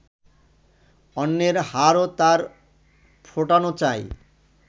অন্যের হাড়ও তাঁর ফোটানো চাই